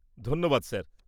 ধন্যবাদ স্যার।